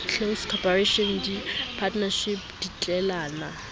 close corporation di partnership ditlelapo